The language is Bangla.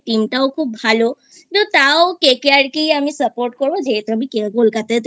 CSK Team টাও খুব ভালো তো তাও KKR কেই আমি Support করব যেহেতু আমি কলকাতাতেই থাকি।